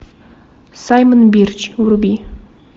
саймон бирч вруби